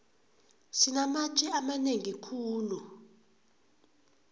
sinamatje amanengi khulu